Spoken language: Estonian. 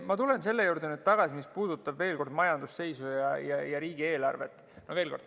Ma tulen veel kord selle juurde tagasi, mis puudutab majandusseisu ja riigieelarvet.